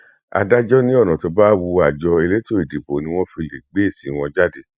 adájọ ní ọnà tó bá wu àjọ elétò ìdìbò ni wọn fi lè gbé èsì wọn jáde